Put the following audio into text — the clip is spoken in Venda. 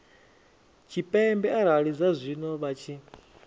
tshipembe arali zwazwino vha tshi